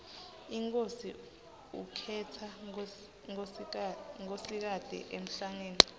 inkhosi ukhetsa nkosikati emhlangeni